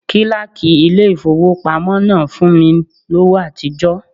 Kíláàkì ilé ìfowópamọ́ náà fún mi lówó àtijọ́.